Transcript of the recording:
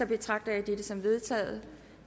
betragter jeg dette som vedtaget